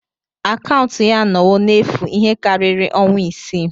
Akaụntụ ya anọwo n'efu ihe karịrị ọnwa isii.